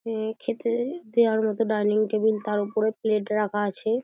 খেতে দেয়ার মতো ডাইনিং টেবিল তার উপর প্লেট রাখা আছে।